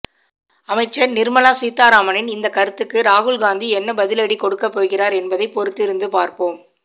அமைச்சர் நிர்மலா சீதாராமனின் இந்த கருத்துக்கு ராகுல்காந்தி என்ன பதிலடி கொடுக்க போகிறார் என்பதை பொறுத்திருந்து பார்ப்போம்